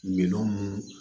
Minɛn minnu